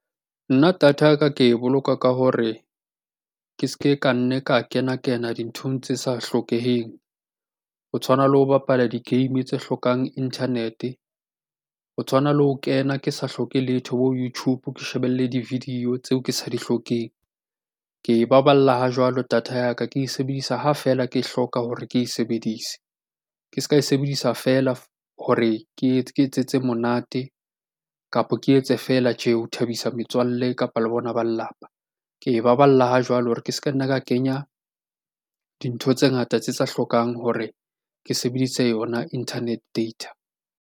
Nna data ya ka ke e boloka ka hore ke se ke ka nne ka kena kena dinthong tse sa hlokeheng. Ho tshwana le ho bapala di-game tse hlokang internet-e, ho tshwana le ho kena ke sa hloke letho bo YouTube, ke shebelle di-video tseo ke sa di hlokeng. Ke e baballa ha jwalo data ya ka, ke e sebedisa ha feela ke hloka hore ke e sebedise. Ke se ka e sebedisa feela hore ke etsetse monate, kapo ke etse feela ke tje ho thabisa metswalle, kapa le bona ba lelapa. Ke e baballa ha jwale hore ke se ka nna ka kenya dintho tse ngata tse sa hlokang hore ke sebedise yona internet data.